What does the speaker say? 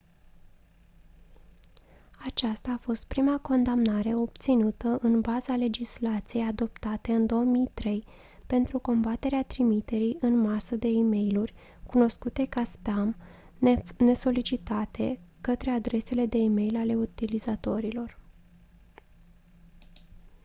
aceasta a fost prima condamnare obținută în baza legislației adoptate în 2003 pentru combaterea trimiterii în masă de e-mailuri cunoscute ca spam nesolicitate către adresele de e-mail ale utilizatorilor